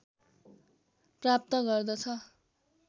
प्राप्त गर्दछ